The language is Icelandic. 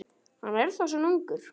Hann er þá svona ungur.